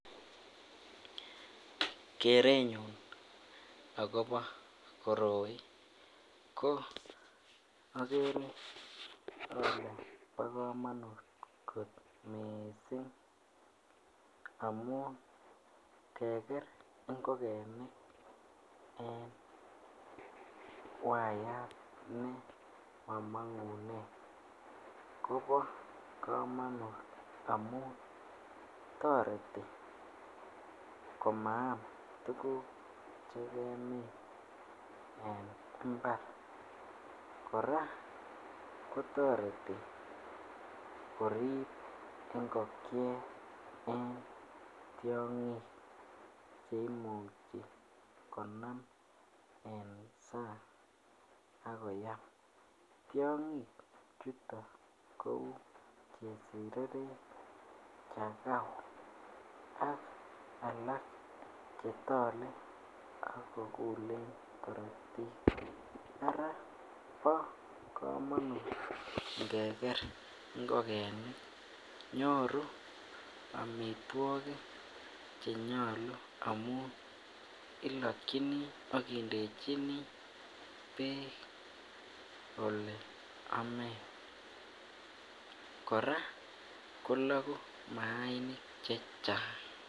Kerenyun akobo koroi ko akere ale bokomonut kot miissing keker ngokenik en wayat ne momong'unen kobo komonut toreti komaam tuguk chekemin en mbar, kora kotoreti korip ngokiet en tiong'ik cheimuch konam en sany akoyam, Tiong'ichutet ko cheu chesireret, chakau ak alak chetole akokule korotik ara bo komonut ngeker ngokenik nyoru amitwogik chenyolu amun ilokyini aki ndechini beek ak ole amen kora koloku maainik chechang.